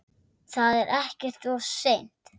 Það er ekkert of seint.